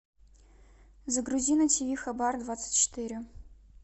загрузи на тиви хабар двадцать четыре